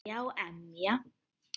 Hlæja og emja.